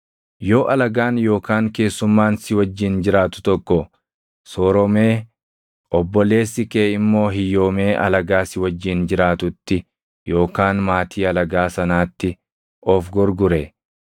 “ ‘Yoo alagaan yookaan keessummaan si wajjin jiraatu tokko sooromee obboleessi kee immoo hiyyoomee alagaa si wajjin jiraatutti yookaan maatii alagaa sanaatti of gurgure,